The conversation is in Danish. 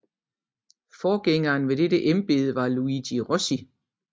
Forgængeren i dette embede var Luigi Rossi